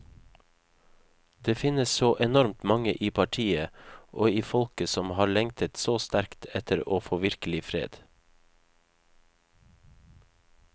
Det finnes så enormt mange i partiet og i folket som har lengtet så sterkt etter å få virkelig fred.